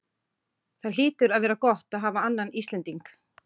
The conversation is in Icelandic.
Það hlýtur að vera gott að hafa annan Íslending?